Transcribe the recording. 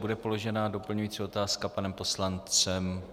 Bude položena doplňující otázka panem poslancem?